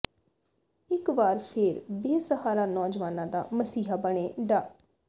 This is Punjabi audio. ਇੱਕ ਵਾਰ ਫੇਰ ਬੇਸਹਾਰਾ ਨੌਜਵਾਨਾਂ ਦਾ ਮਸੀਹਾ ਬਣੇ ਡਾ